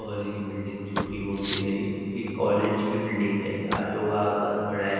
और ये बिल्डिंग छोटी मोटी नहीं ये कॉलेज की बिल्डिंग है जहाँ लोग आकर पढ़ाई--